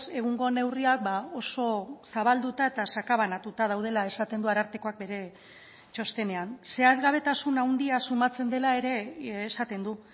egungo neurriak oso zabalduta eta sakabanatuta daudela esaten du arartekoak bere txostenean zehazgabetasun handia sumatzen dela ere esaten du